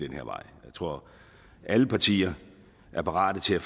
her vej jeg tror at alle partier er parate til at